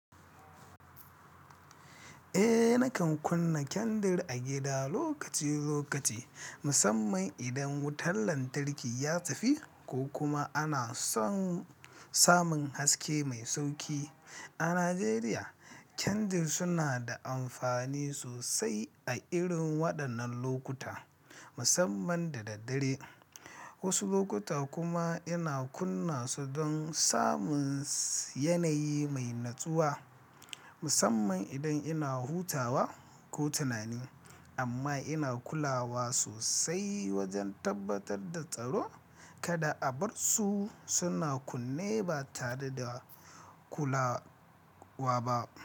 Eh, nakan kunna kyandir a gida lokaci-lokaci, musamman idan wutar lantarki ya tafi, ko kuma ana son samun haske mai sauƙi. A Najeriya, kyandir suna da amfani sosai a irin waɗannan lokuta, musamman da daddare. Wasu lokuta kuma ina kunna su don samun yanayi mai natsuwa, musamman idan ina hutawa ko tunani. Amma ina kulawa sosai wajen tabbatar da tsaro, kada a bar su suna kunne ba tare da kulawa ba.